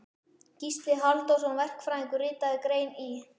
Gísli Halldórsson verkfræðingur ritaði grein í